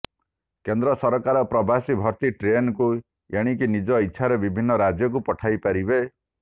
କେନ୍ଦ୍ର ସରକାର ପ୍ରବାସୀ ଭର୍ତ୍ତି ଟ୍ରେନକୁ ଏଣିକି ନିଜ ଇଚ୍ଛାରେ ବିଭିନ୍ନ ରାଜ୍ୟକୁ ପଠାଇ ପାରିବେ